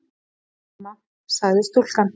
Hæ, mamma- sagði stúlkan.